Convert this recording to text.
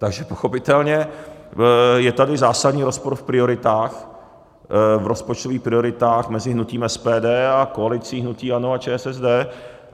Takže pochopitelně je tady zásadní rozpor v prioritách, v rozpočtových prioritách mezi hnutím SPD a koalicí hnutí ANO a ČSSD.